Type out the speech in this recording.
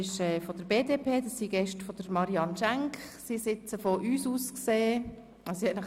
Es handelt sich um Mitglieder der BDP.